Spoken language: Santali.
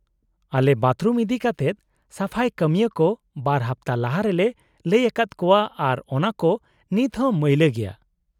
-ᱟᱞᱮ ᱵᱟᱛᱷᱨᱩᱢ ᱤᱫᱤᱠᱟᱛᱮᱫ ᱥᱟᱯᱷᱟᱭ ᱠᱟᱹᱢᱤᱭᱟᱹ ᱠᱚ ᱵᱟᱨ ᱦᱟᱯᱛᱟ ᱞᱟᱦᱟ ᱨᱮᱞᱮ ᱞᱟᱹᱭ ᱟᱠᱟᱫᱟ ᱠᱚᱣᱟ ᱟᱨ ᱚᱱᱟᱠᱚ ᱱᱤᱛᱦᱚᱸ ᱢᱟᱹᱭᱞᱟᱹ ᱜᱮᱭᱟ ᱾